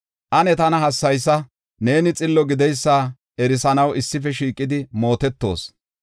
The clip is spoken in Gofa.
Ane tana hassayisa; neeni xillo gideysa erisanaw issife shiiqidi mootetoos.